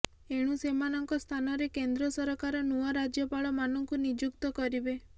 ଏଣୁ ସେମାନଙ୍କ ସ୍ଥାନରେ କେନ୍ଦ୍ର ସରକାର ନୂଆ ରାଜ୍ୟପାଳମାନଙ୍କୁ ନିଯୁକ୍ତ କରିବେ